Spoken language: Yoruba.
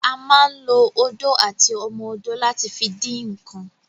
A ma ń lo odó àti ọmọ odó láti fi dín ǹǹkan